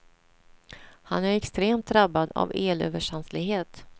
Han är extremt drabbad av elöverkänslighet.